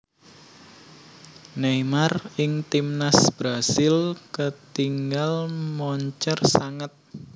Neymar ing Timnas Brasil ketingal moncer sanget